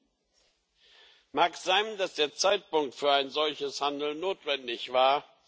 Es mag sein, dass der Zeitpunkt für ein solches Handeln notwendig war.